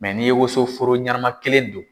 n'i ye wosoforo ɲanama kelen don